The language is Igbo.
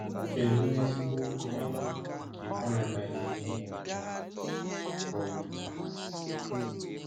Kedu ezigbo nkọwa nke paradaịs mmụọ! um